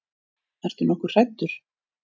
Ertu nokkuð hræddur?